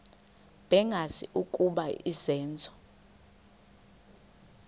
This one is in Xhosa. bengazi ukuba izenzo